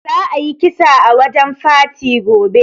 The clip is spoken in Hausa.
Za a yi kisa a wajen farti gobe